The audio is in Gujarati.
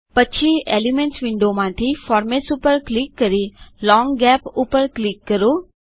પછી એલિમેન્ટ્સ વિન્ડો માંથી ફોર્મેટ્સ ઉપર ક્લિક કરી લોંગ ગેપ ઉપર ક્લિક કરો